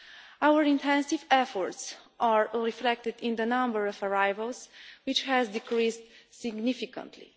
Our intensive efforts are reflected in the number of arrivals, which has decreased significantly.